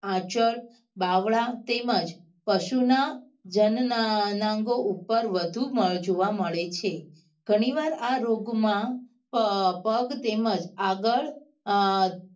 આંચળ બાવળા તેમજ પશુ ના જન નાઅંગો ઉપર વધુ જોવા મળે છે ગણી વાર આ રોગ માં પગ તેમજ આગળ અ